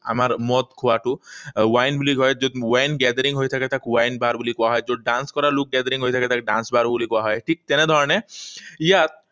আমাৰ মদ খোৱাটো, wine বুলি কয়। যত wine gathering হৈ থাকে, তাক wine bar বুলি কোৱা হয়। যত dance কৰা লোক gathering হৈ থাকে, তাক dance bar বুলি কোৱা হয়। ঠিক তেনে ধৰণে ইয়াত